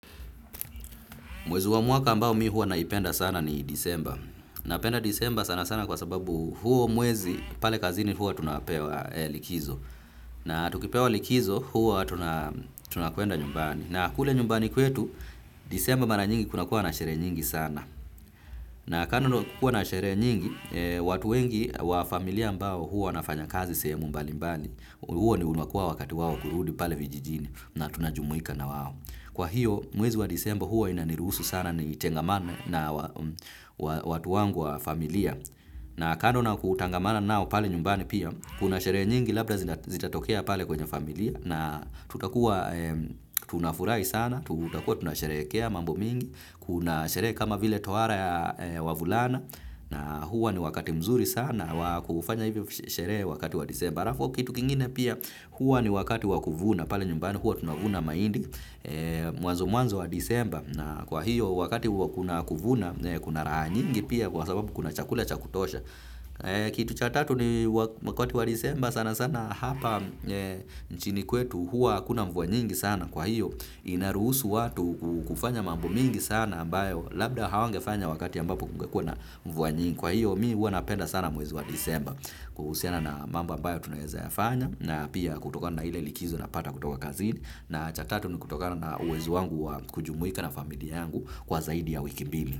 Mwezi wa mwaka ambao mi huwa naipenda sana ni disemba. Napenda disemba sanasana kwa sababu huo mwezi pale kazini huwa tunapewa likizo. Na tukipewa likizo huwa tunakuenda nyumbani. Na kule nyumbani kwetu disemba mara nyingi kunakuwa na sherehe nyingi sana. Na kando na kukua na sherehe nyingi, watu wengi wa familia ambao huwa wanafanya kazi sehemu mbalimbali. Huo ni unakuwa wakati wao kurudi pale vijijini na tunajumuika na wawo. Kwa hiyo, mwezi wa disemba huwa inanirusu sana nitengamane na watu wangu wa familia. Na kando na kutangamana nao pale nyumbani pia, kuna sherehe nyingi labda zitatokea pale kwenye familia. Na tutakuwa tunafurahi sana, tutakua tunasherekea mambo mingi, kuna sherehe kama vile tohara ya wavulana. Na huo ni wakati mzuri sana wa kufanya hivyo sherehe wakati wa disemba. Alafu kitu kingine pia huwa ni wakati wa kuvuna, pale nyumbani huwa tunavuna mahindi, mwanzo mwanzo wa disemba na kwa hiyo wakati huwa kuna kuvuna, kuna raha nyingi pia kwa sababu kuna chakula cha kutosha. Kitu cha tatu ni wakati wa disemba sana sana hapa nchini kwetu huwa hakuna mvua nyingi sana kwa hiyo inaruhusu watu kufanya mambo mingi sana ambayo labda hawangefanya wakati ambapo kumgekua na mvua nyingi. Kwa hiyo mi huwa napenda sana mwezi wa disemba kuhusiana na mambo ambayo tunaeza yafanya na pia kutokana na ile likizo napata kutoka kazini na cha tatu ni kutokana na uwezo wangu wa kujumuika na familia yangu kwa zaidi ya wiki mbili.